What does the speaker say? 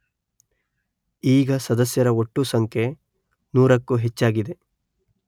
ಈಗ ಸದಸ್ಯರ ಒಟ್ಟು ಸಂಖ್ಯೆ ನೂರಕ್ಕೂ ಹೆಚ್ಚಾಗಿದೆ.